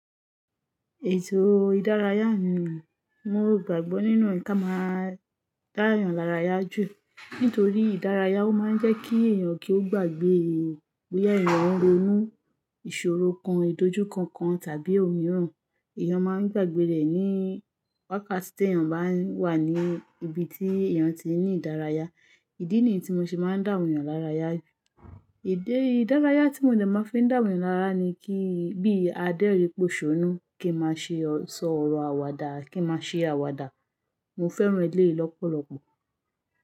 Ètò ìdárayá ni mo gbàgbọ́ nínú ẹ̀ka máa dá èèyàn lára yá jù, nítorí ìdárayá ó máa ń jẹ́ kí èèyàn kí ó gbàgbé bóyá èèyàn ń ronú ìṣòro kan, ìdójúìkankan tàbí òmíràn. Èèyàn máa ń gbàgbé rẹ̀ ní wákàtí tí èèyàn bá wà ní ibi tí èèyàn ti ní ìdárayá. Ìdí nìyí tí mo ṣe máa ń dá èèyàn lára yá. Èdè ìdárayá tí mo tẹ̀lé máa fi dá èèyàn lára yá ni kí bí adẹ́ rí poṣónú kí má ṣe sọ ọ̀rọ̀ àwàdà kí má ṣe àwàdà. Mo fẹ́ràn eleyii lọ́pọ̀lọpọ̀.